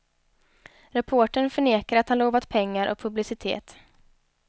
Reportern förnekar att han lovat pengar och publicitet.